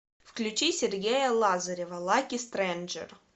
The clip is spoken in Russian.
включи сергея лазарева лаки стрэнджер